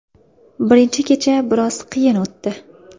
Birinchi kecha biroz qiyin o‘tdi.